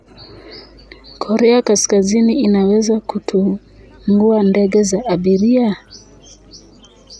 Korea Kaskazini inaweza kutungua ndege za abiria?